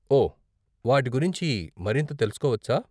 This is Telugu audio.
ఓ, వాటి గురించి మరింత తెలుసుకోవచ్చా?